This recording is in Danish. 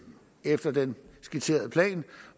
efter den skitserede plan